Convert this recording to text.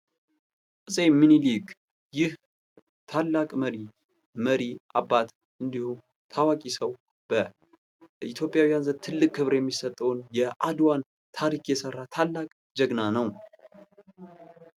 አፄ ምኒልክ ይህ ታላቅ መሪ መሪ አባት እንዲሁም ታዋቂ ሰው በኢትዮጵያዊያን ዘንድ ትልቅ ክብር የሚሰጠውን የአድዋን ታሪክ የሰራ ታላቅ ጀግና ነው።